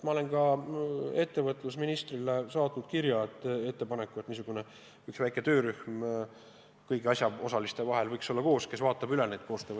Ma olen ettevõtlusministrile saatnud kirja ettepanekuga, et võiks moodustada väikese kõigi asjaosaliste töörühma, kes koostöövõimalused üle vaatab.